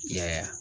Yaya